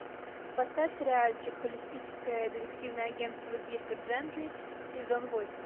поставь сериальчик холистическое детективное агентство дирка джентли сезон восемь